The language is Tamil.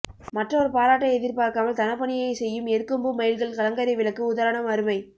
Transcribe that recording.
மற்றவர் பாராட்டை எதிர்பார்க்காமல் தன பணியை செய்யும் எருக்கம்பூ மயில்கல் கலங்கரை விளக்கு உதாரணம் அருமை